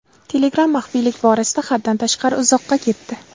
Telegram maxfiylik borasida haddan tashqari uzoqqa ketdi.